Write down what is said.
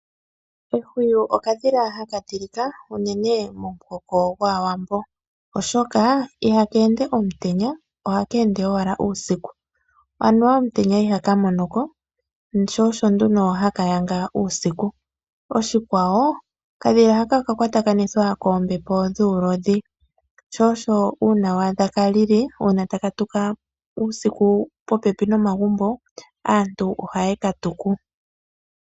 Ehwiyu okadhila haka tilika unene momuhoko gwAawambo, oshoka ihaka ende omutenya ohaka ende owala uusiku, anuwa omutenya ihaka mono ko, sho osho nduno haka yanga uusiku. Oshikwawo okadhila haka oka kwatakanithwa koombepo dhuulodhi sho osho uuna wa adha ka lili uuna wa adha taka tuka uusiku popepi nomagumbo, aantu ohaye ka tuku.